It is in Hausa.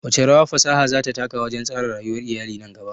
Wace rawa fasaha za ta taka wajen tsara rayuwar iyali nan gaba?